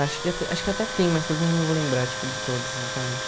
Acho que até acho que até tem mais coisas, mas não vou lembrar, tipo, de todas, exatamente.